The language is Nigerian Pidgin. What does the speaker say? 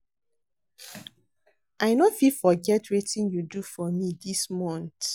I no fit forget wetin you do for me this month.